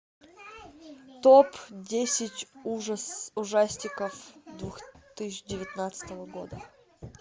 топ десять ужастиков две тысячи девятнадцатого года